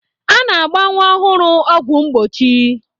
A na-agba nwa ọhụrụ ọgwụ mgbochi.